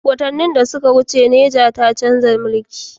Watanni da suka wuce Niger ta chanza mulki